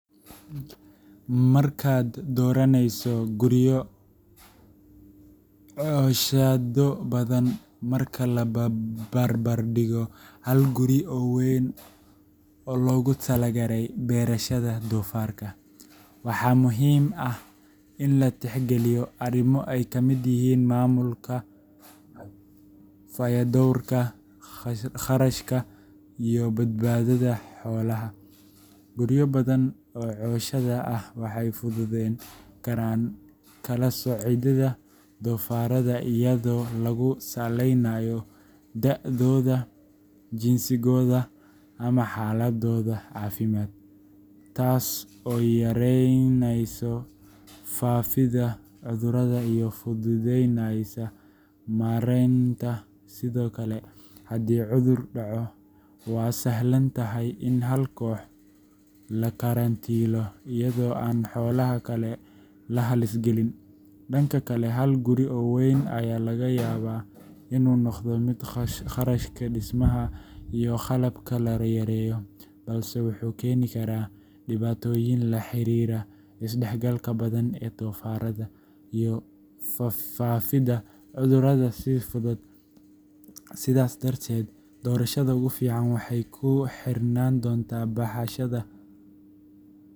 Markaad dooranayso guryo cooshado badan marka la barbar dhigo hal guri oo weyn oo loogu talagalay beerashada doofaarka, waxaa muhiim ah in la tixgeliyo arrimo ay ka mid yihiin maamulka, fayadhowrka, kharashka iyo badbaadada xoolaha. Guryo badan oo cooshado ah waxay fududeyn karaan kala-soocidda doofaarrada iyadoo lagu saleynayo da’dooda, jinsigooda ama xaaladdooda caafimaad, taas oo yareynaysa faafidda cudurrada iyo fududeyneysa maaraynta. Sidoo kale, haddii cudur dhaco, waa sahlan tahay in hal koox la karantiilo iyadoo aan xoolaha kale la halis gelin. Dhanka kale, hal guri oo weyn ayaa laga yaabaa inuu noqdo mid kharashka dhismaha iyo qalabka la yareeyo, balse wuxuu keeni karaa dhibaatooyin la xiriira isdhexgalka badan ee doofaarrada iyo faafidda cudurrada si fudud. Sidaas darteed, doorashada ugu fiican waxay ku xirnaan doontaa baaxashada.